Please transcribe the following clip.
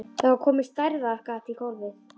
Það var komið stærðar gat í gólfið.